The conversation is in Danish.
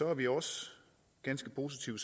er vi også ganske positive